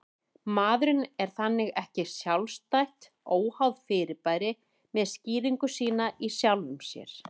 Maðurinn er þannig ekki sjálfstætt, óháð fyrirbæri með skýringu sína í sjálfum sér